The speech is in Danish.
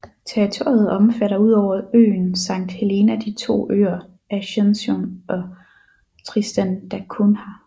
Territoriet omfatter udover øen Sankt Helena de to øer Ascension og Tristan da Cunha